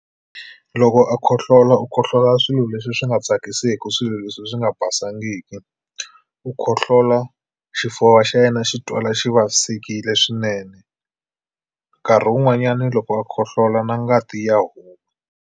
Loko a khohlola u khohlola swilo leswi swi nga tsakiseku swilo leswi swi nga basangiki u khohlola xifuva xa yena xi twala xi vavisekile swinene nkarhi wun'wanyani loko a khohlola na ngati ya .